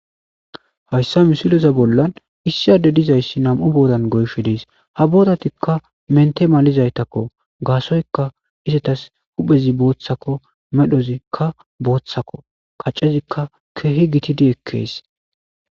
hayssa misileza bollan issi adde dizayssi nam7u boodan goyshe diis ha boodatikka mente malizaytakko gaasoyka isetas huphezi booththakko medhozikka booththakko kaccezikka keehi gitidi ekkees